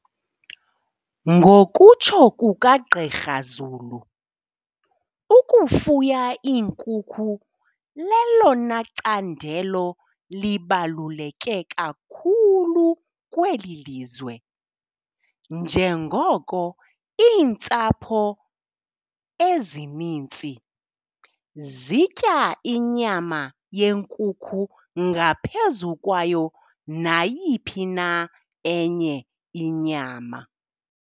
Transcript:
Ngokutsho kukaGqr Zulu, ukufuya iinkukhu lelona candelo libaluleke kakhulu kweli lizwe, njengoko iintsapho ezininzi zitya inyama yenkukhu ngaphezu kwayo nayiphi na enye inyama.